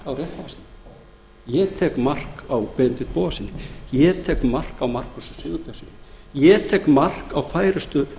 orðin ég tek mark á réttarfarsnefnd ég tek mark á benedikt bogasyni og markúsi sigurbjörnssyni ég tek mark á færustu